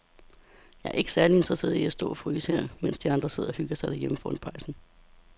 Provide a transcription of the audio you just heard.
Jeg er ikke særlig interesseret i at stå og fryse her, mens de andre sidder og hygger sig derhjemme foran pejsen.